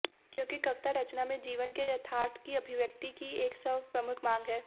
क्यों कविता रचना में जीवन के यथार्थ की अभिव्यक्ति की एक सर्वप्रमुख माँग है